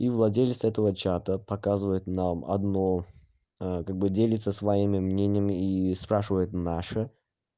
и владелица этого чата показывает нам одно как бы делится своими мнениями и спрашивает наше